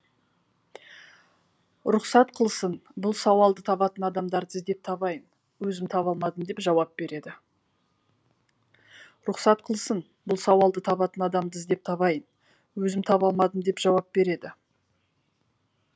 рұқсат қылсын бұл сауалды табатын адамды іздеп табайын өзім таба алмадым деп жауап береді